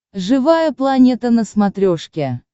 живая планета на смотрешке